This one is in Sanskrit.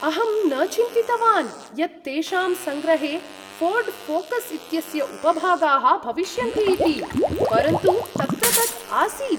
अहं न चिन्तितवान् यत् तेषां सङ्ग्रहे फोर्ड फोकस् इत्यस्य उपभागाः भविष्यन्ति इति, परन्तु तत्र तत् आसीत्।